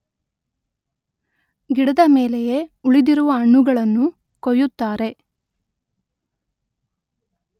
ಗಿಡದ ಮೇಲೆಯೇ ಉಳಿದಿರುವ ಹಣ್ಣುಗಳನ್ನು ಕೊಯ್ಯುತ್ತಾರೆ